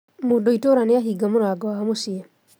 Mũndũitũra nĩahinga mũrango wa mũciĩ